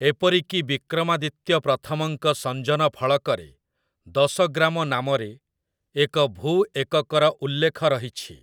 ଏପରିକି ବିକ୍ରମାଦିତ୍ୟ ପ୍ରଥମଙ୍କ ସଞ୍ଜନ ଫଳକରେ ଦଶଗ୍ରାମ ନାମରେ ଏକ ଭୂ-ଏକକର ଉଲ୍ଲେଖ ରହିଛି ।